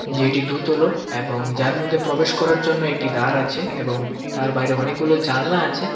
যে এটি দোতলো এবং যার মধ্যে প্রবেশ করার জন্য একটি দ্বার আছে এবং তার বাইরে অনেকগুলো জানালা আছে .